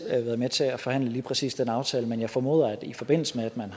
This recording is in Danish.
været med til at forhandle lige præcis den aftale men jeg formoder at der i forbindelse med at den